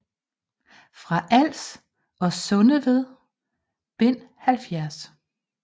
Fra Als og Sundeved Bind 70